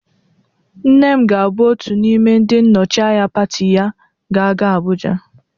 Nne m ga-abụ otu n'ime ndị nnọchịanya pati ya ga-aga Abụja